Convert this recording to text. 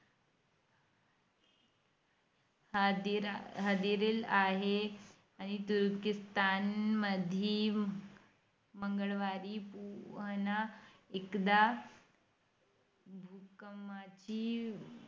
ती शाळा बघून मी घाबरलो , एवढ्या मोठ्या शाळेत कसं काय शिकायच आपण.